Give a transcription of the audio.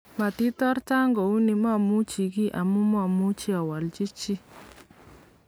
matirota kuuni mamuchi giy amu mamuchi awalji chi